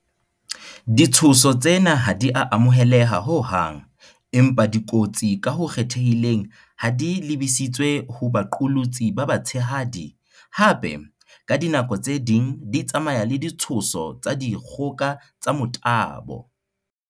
Ditshoso tsena ha di a amoheleha ho hang, empa di kotsi ka ho kgethehileng ha di lebisitswe ho baqolotsi ba ba tshehadi, hape, ka dinako tse ding di tsamaya le ditshoso tsa dikgoka tsa tsa motabo.